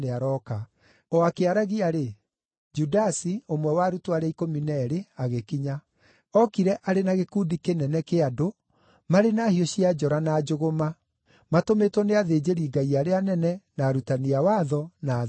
O akĩaragia-rĩ, Judasi, ũmwe wa arutwo arĩa ikũmi na eerĩ, agĩkinya. Ookire arĩ na gĩkundi kĩnene kĩa andũ marĩ na hiũ cia njora na njũgũma, matũmĩtwo nĩ athĩnjĩri-Ngai arĩa anene, na arutani a watho na athuuri.